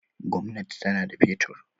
Gwamnati tana da fetur.